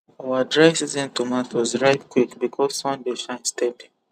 our dry season tomatoes ripe quick because sun dey shine steady